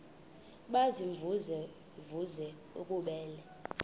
baziimvuze mvuze bububele